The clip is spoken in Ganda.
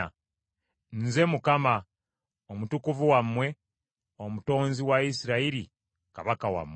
Nze Mukama , Omutukuvu wammwe, Omutonzi wa Isirayiri, Kabaka wammwe.”